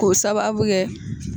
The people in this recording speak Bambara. K'o sababu kɛ